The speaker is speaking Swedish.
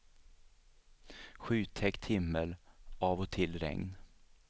Skytäckt himmel, av och till regn.